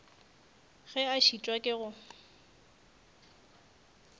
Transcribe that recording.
ge a šitwa ke go